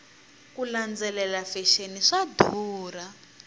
ku landzelela fexeni swa durha